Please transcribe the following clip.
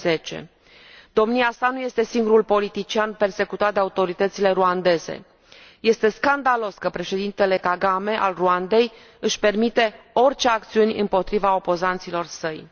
2010. Domnia sa nu este singurul politician persecutat de autoritățile ruandeze. Este scandalos că președintele Kagame al Rwandei își permite orice acțiuni împotriva opozanților săi.